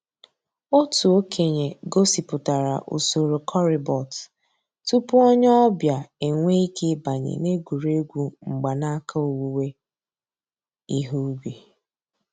Ọ̀tù òkènye gọ̀sìpùtárà ǔsòrò corribot túpù ònyè ọ̀ bịa enwèè ìké ị̀bànyè n'ègwè́ré́gwụ̀ mgbànàkà òwùwé ìhè ǔbì.